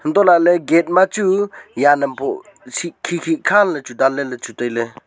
antoh laley gate ma chu jan am pho khi khi khan le chu dan ley tailey.